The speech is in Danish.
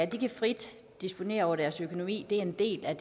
kan frit disponere over deres økonomi det er en del af